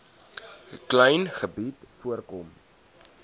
klein gebied voorkom